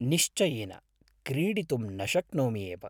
निश्चयेन क्रीडितुं न शक्नोमि एव।